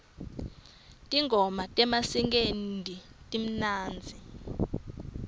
tingoma tamaskandi timnandzi